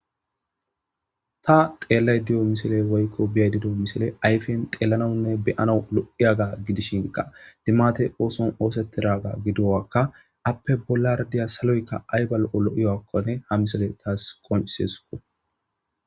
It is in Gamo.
Ta xeellay dido misile woykko biyay dido misile ayfen xeellanawunne beyana lo'iyaga gidishinka dimate ooson oosettidaga gidowakka appe bolla rdiya saloykka aybal'olo'iyoakkone hamisile taas qoncisesuko.